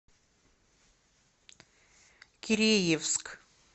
киреевск